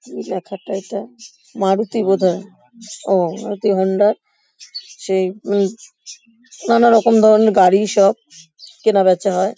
কি কি লেখাটা এটা ? মারুতি বোধহয় ও মারুতি হোন্ডা সেই উম নানারকম ধরণের গাড়ি সব কেনাবেচা হয়।